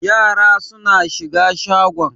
Yara suna shiga shagon.